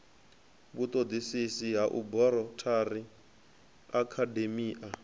vhutodisisi ha aborathari na akhademia